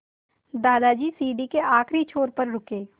दादाजी सीढ़ी के आखिरी छोर पर रुके